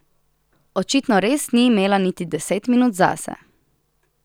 Očitno res ni imela niti deset minut zase.